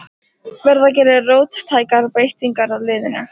Verða gerðar róttækar breytingar á liðinu?